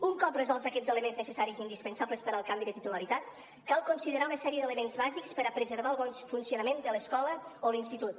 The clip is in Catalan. un cop resolts aquests elements necessaris indispensables per al canvi de titularitat cal considerar una sèrie d’elements bàsics per a preservar el bon funcionament de l’escola o l’institut